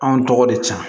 Anw tɔgɔ de san